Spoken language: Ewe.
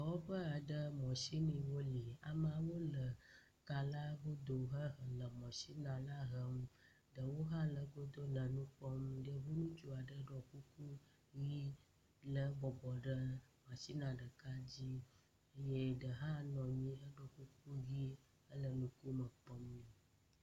Dɔwɔƒe aɖe mɔsiniwo li. Amewo ka la godo hele mɔsini na la hem. Ɖewo hã le egodo le nu kpɔm. Yevu ŋutsu aɖe ɖɔ kuku ʋi lé gbɔgbɔ ɖe mɔsinia ɖeka dzi ye ɖe hã nɔ anyi heɖo kuku ʋi. Ele ŋkume kpɔm nɛ.